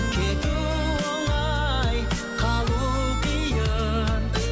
кету оңай қалу қиын